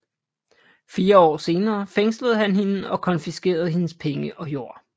Fire år senere fængslede han hende og konfiskerede hendes penge og jord